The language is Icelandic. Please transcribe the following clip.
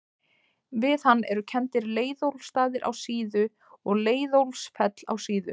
Við hann eru kenndir Leiðólfsstaðir á Síðu og Leiðólfsfell á Síðu.